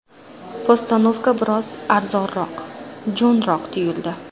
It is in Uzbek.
Postanovka biroz arzonroq, jo‘nroq tuyuldi.